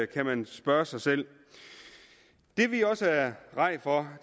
kan man spørge sig selv det vi også er rædde for